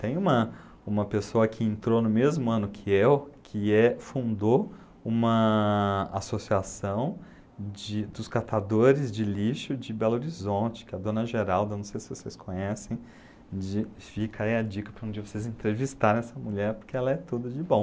Tem uma uma pessoa que entrou no mesmo ano que eu, que é, fundou uma associação de dos catadores de lixo de Belo Horizonte, que é a dona Geralda, não sei se vocês conhecem, de fica aí a dica para um dia vocês entrevistarem essa mulher, porque ela é tudo de bom.